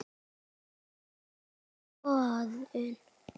Það sé í skoðun.